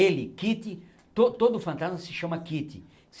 Ele, Kitty, todo fantasma se chama Kitty